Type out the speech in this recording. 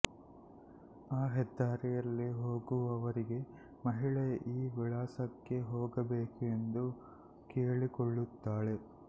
ಆ ಹೆದ್ಧಾರಿಯಲ್ಲಿ ಹೋಗುವವರಿಗೆ ಮಹಿಳೆ ಈ ವಿಳಾಸಕ್ಕೆ ಹೋಗಬೇಕು ಎಂದು ಕೇಳಿಕೊಳ್ಳುತ್ತಾಳೆ